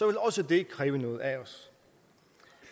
vil også det kræve noget af os